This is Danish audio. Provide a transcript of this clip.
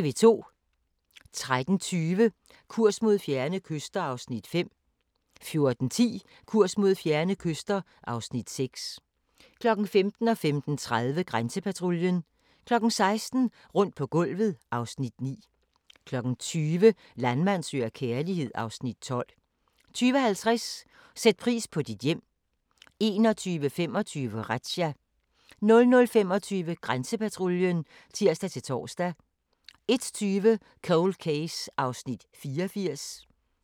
13:20: Kurs mod fjerne kyster (Afs. 5) 14:10: Kurs mod fjerne kyster (Afs. 6) 15:00: Grænsepatruljen 15:30: Grænsepatruljen 16:00: Rundt på gulvet (Afs. 9) 20:00: Landmand søger kærlighed (Afs. 12) 20:50: Sæt pris på dit hjem 21:25: Razzia 00:25: Grænsepatruljen (tir-tor) 01:20: Cold Case (84:156)